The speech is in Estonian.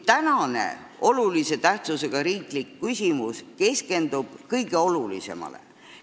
Tänane olulise tähtsusega riiklik küsimus keskendub aga kõige olulisemale.